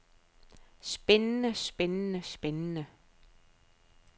spændende spændende spændende